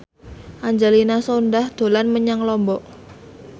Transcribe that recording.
Angelina Sondakh dolan menyang Lombok